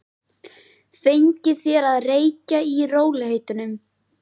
Fengið þér að reykja í rólegheitunum?